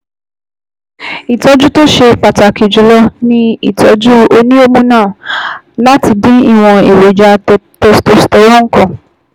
Ìtọ́jú tó ṣe pàtàkì jùlọ ni ìtọ́jú oníhormonal láti dín ìwọ̀n èròjà testosterone kù